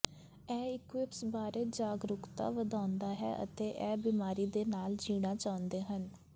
ਇਹ ਇਕੁਇਪਸ ਬਾਰੇ ਜਾਗਰੂਕਤਾ ਵਧਾਉਂਦਾ ਹੈ ਅਤੇ ਇਹ ਬਿਮਾਰੀ ਦੇ ਨਾਲ ਜੀਣਾ ਚਾਹੁੰਦੇ ਹਨ